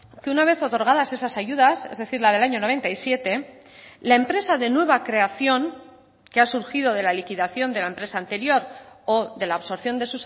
que una vez otorgadas esas ayudas es decir la del año noventa y siete la empresa de nueva creación que ha surgido de la liquidación de la empresa anterior o de la absorción de